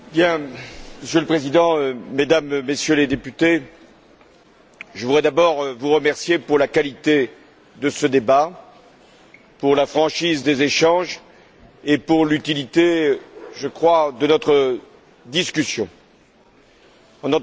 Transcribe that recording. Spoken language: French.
Monsieur le Président, Mesdames et Messieurs les députés, je voudrais d'abord vous remercier pour la qualité de ce débat, pour la franchise des échanges et pour l'utilité, je crois, de notre discussion. En entendant M.